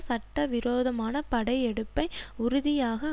சட்டவிரோதமான படையெடுப்பை உறுதியாக